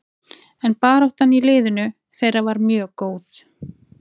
En baráttan í liðinu þeirra var mjög góð.